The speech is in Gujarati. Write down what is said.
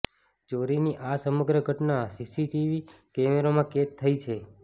ચોરીની આ સમગ્ર ઘટના સીસીટીવી કેમેરામાં કેદ થઇ છે